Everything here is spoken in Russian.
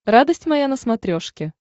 радость моя на смотрешке